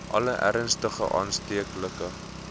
alle ernstige aansteeklike